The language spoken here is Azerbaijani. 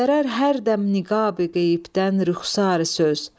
göstərər hər dəm niqabi qeybdən rüxsari söz.